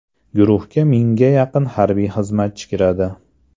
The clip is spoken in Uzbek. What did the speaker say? Guruhga mingga yaqin harbiy xizmatchi kiradi.